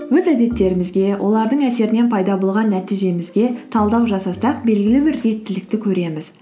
өз әдеттерімізге олардың әсерінен пайда болған нәтижемізге талдау жасасақ белгілі бір реттілікті көреміз